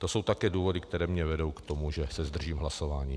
To jsou také důvody, které mě vedou k tomu, že se zdržím hlasování.